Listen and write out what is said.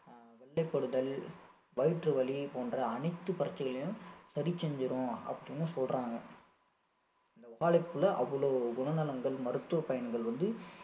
வெள்ளைபடுதல், வயிற்று வலி, போன்ற அனைத்து பிரச்சனைகளையும் சரி செஞ்சிரும். அப்படின்னு சொல்றாங்க இந்த வாழைப்பூவுல அவ்வளவு குணநலன்கள் மருத்துவ பயன்கள் வந்து